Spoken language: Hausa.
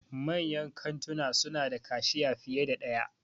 Manyan kantuna suna da kashiya fiye da ɗaya.